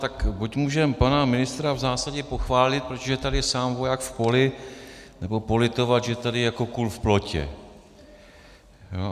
Tak buď můžeme pana ministra v zásadě pochválit, protože je tady sám voják v poli, nebo politovat, že tady je jako kůl v plotě.